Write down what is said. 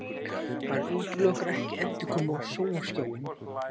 Hann útilokar ekki endurkomu á sjónvarpsskjáinn